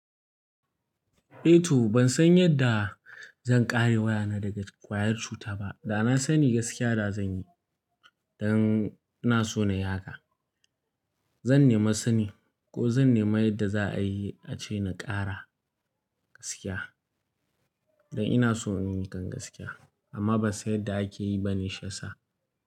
Eh to ban san yadda zan ƙare wayana daga kwayar cuta ba, da na sani gaskiya da zan yi don ina so nayi haka. Zan nema sani ko zan nema yadda za a yi a ce na ƙara gaskiya don ina so in yi kan gaskiya amma ban san yadda ake yi ba ne shiyasa.